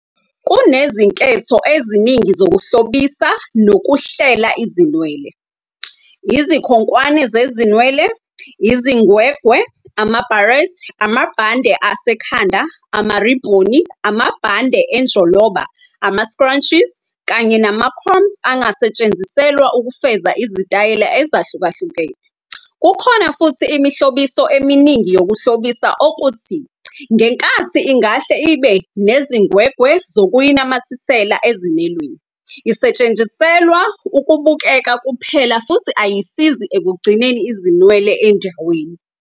Kunezinketho eziningi zokuhlobisa nokuhlela izinwele. Izikhonkwane zezinwele, izingwegwe, ama-barrette, amabhande asekhanda, amaribhoni, amabhande enjoloba, ama- scrunchies, kanye nama-combs angasetshenziselwa ukufeza izitayela ezahlukahlukene. Kukhona futhi imihlobiso eminingi yokuhlobisa okuthi, ngenkathi ingahle ibe nezingwegwe zokuyinamathisela ezinweleni, isetshenziselwa ukubukeka kuphela futhi ayisizi ekugcineni izinwele endaweni